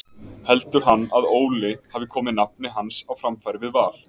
Heldur hann að Óli hafi komið nafni hans á framfæri við Val?